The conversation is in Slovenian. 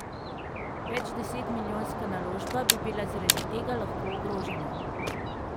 Več deset milijonska naložba bi bila zaradi tega lahko ogrožena.